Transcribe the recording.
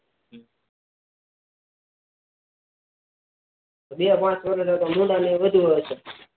બે પાંચ વર્ષ જોવાજાવ તો ભૂંડા એ વધુ હોય